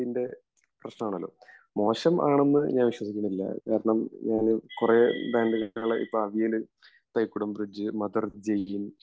ഞാൻ വിശ്വസിക്കുന്നില്ല കാരണം നമ്മള് കുറെ ബാൻഡുകളെ ഇപ്പ അറിഞ്ഞേല്